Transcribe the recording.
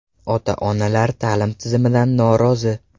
Ota-onalar ta’lim tizimidan norozi.